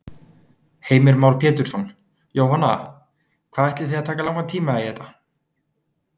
Heimir Már Pétursson: Jóhanna, hvað ætlið þið að taka langan tíma í þetta?